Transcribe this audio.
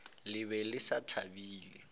le be le sa thabile